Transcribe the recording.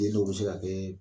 I ye n'o bɛ se ka kɛ